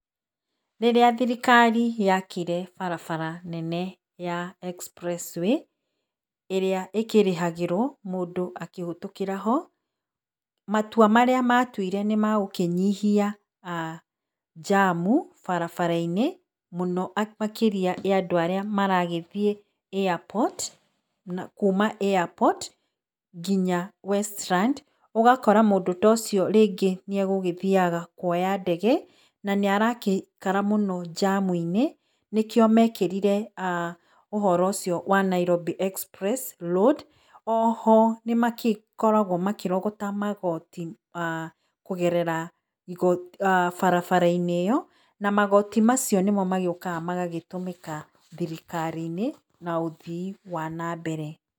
Rĩrĩa thirikari yakire barabara nene ya Express Way, ĩrĩa ĩkĩrĩhagĩrwo mũndũ akĩhetũkĩra-ho, matua marĩa matuire nĩ magũkĩnyihia njamu barabara-inĩ, mũno makĩria ya andũ arĩa maragĩthiĩ airport, na kuuma airport, nginya Westlands, ũgakora mũndũ tocio rĩngĩ nĩ egũthiaga kuoya ndege, na nĩ aragĩikara mũno njamu-inĩ, nĩkĩo mekĩrire aah ũhoro ũcio wa Nairobi Express road. Oho nĩmagĩkoragwo makĩrogota magoti kũgerera barabara-inĩ ĩyo, na magoti macio nĩmagĩũkaga magatũmĩka thirikari-inĩ, na ũthii wa na mbere.